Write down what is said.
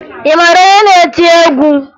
Ị mara onye na-eti egwu?